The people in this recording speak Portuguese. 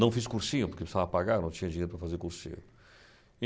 Não fiz cursinho, porque precisava pagar, não tinha dinheiro para fazer cursinho.